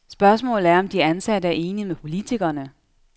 Spørgsmålet er, om de ansatte er enige med politikerne.